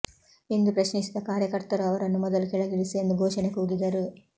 ಎಂದು ಪ್ರಶ್ನಿಸಿದ ಕಾರ್ಯಕರ್ತರು ಅವರನ್ನು ಮೊದಲು ಕೆಳಗಿಳಿಸಿ ಎಂದು ಘೋಷಣೆ ಕೂಗಿದರು